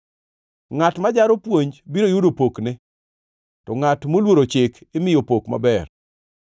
Ngʼat ma jaro puonj biro yudo pokne, to ngʼat moluoro chik imiyo pok maber.